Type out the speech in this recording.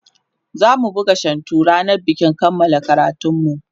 zamu buga shantu rannan bikin kanmala karatunmu